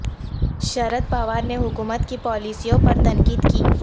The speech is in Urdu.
شرد پوار نے حکومت کی پالیسیوں پر تنقید کی